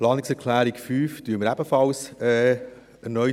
Die Planungserklärung 5 unterstützen wir ebenfalls erneut.